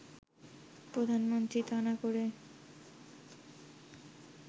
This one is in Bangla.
প্রধানমন্ত্রী তা না করে